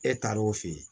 E taar'o fɛ yen